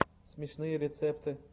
смешные рецепты